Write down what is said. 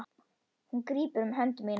Hún grípur um hönd mína.